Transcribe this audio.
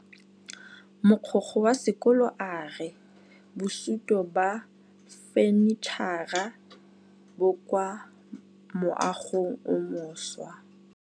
Mogokgo wa sekolo a re bosutô ba fanitšhara bo kwa moagong o mošwa.